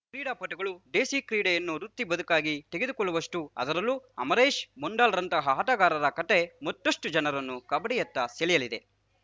ಕ್ರೀಡಾಪಟುಗಳು ದೇಸಿ ಕ್ರೀಡೆಯನ್ನು ವೃತ್ತಿ ಬದುಕಾಗಿ ತೆಗೆದುಕೊಳ್ಳುವಷ್ಟು ಅದರಲ್ಲೂ ಅಮರೇಶ್‌ ಮೊಂಡಲ್‌ರಂತಹ ಆಟಗಾರರ ಕಥೆ ಮತ್ತಷ್ಟುಜನರನ್ನು ಕಬಡ್ಡಿಯತ್ತ ಸೆಳೆಯಲಿದೆ